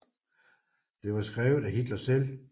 Det var skrevet af Hitler selv